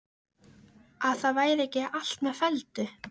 Að það væri ekki allt með felldu.